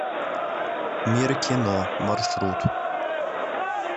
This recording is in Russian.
мир кино маршрут